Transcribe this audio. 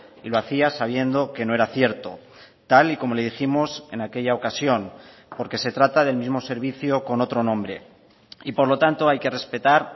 y lo hacía sabiendo que no era cierto tal y como le dijimos en aquella ocasión porque se trata del mismo servicio con otro nombre y por lo tanto hay que respetar